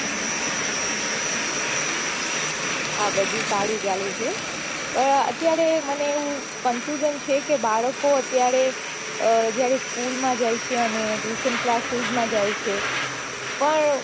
હા બઘુ સારું ચાલે છે અત્યારે મને એવું confusion છે બાળકો અત્યારે જયારે school માં જાય છે અને tuition classis માં જાય છે પણ